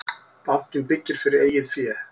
Bankinn byggir fyrir eigið fé